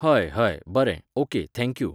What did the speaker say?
हय, हय, बरें, okay thank you